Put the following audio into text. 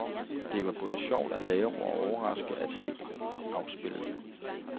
Det var både sjovt at lave og overraskende at se afspillet.